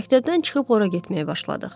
Məktəbdən çıxıb ora getməyə başladıq.